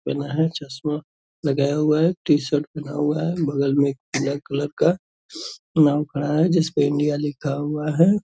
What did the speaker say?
पहना है चस्मा लगाया हुआ है टी-शर्ट पहना हुआ है बगल में एक ब्लैक कलर का नाव खड़ा है जिसपे इंडिया लिखा हुआ है ।